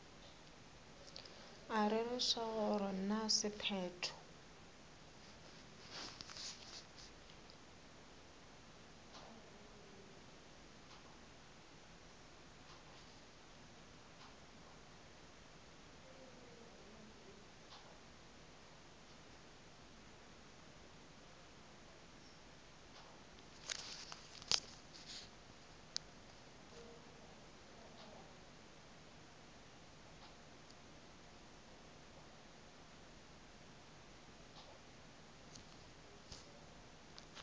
a rereša gore na sephetho